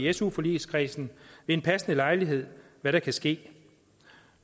i su forligskredsen ved en passende lejlighed kan hvad der kan ske